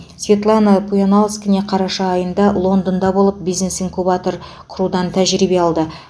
светлана пуянаускене қараша айында лондонда болып бизнес инкубатор құрудан тәжірибе алды